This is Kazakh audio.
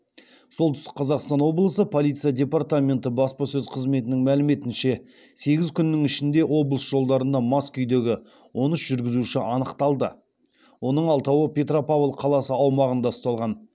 солтүстік қазақстан облысы полиция департаменті баспасөз қызметінің мәліметінше сегіз күннің ішінде облыс жолдарында мас күйдегі он үш жүргізуші анықталды оның алтауы петропавл қаласы аумағында ұсталған